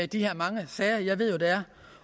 de her mange sager jeg ved jo der er